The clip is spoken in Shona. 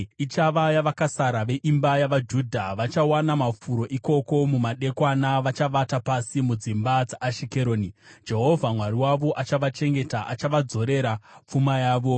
Ichava yavakasara veimba yavaJudha; vachawana mafuro ikoko. Mumadekwana vachavata pasi mudzimba dzaAshikeroni. Jehovha Mwari wavo achavachengeta; Achavadzorera pfuma yavo.